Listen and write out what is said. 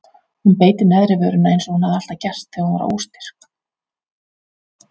Hún beit í neðri vörina eins og hún hafði alltaf gert þegar hún var óstyrk.